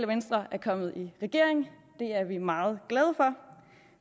venstre er kommet i regering og det er vi meget glade for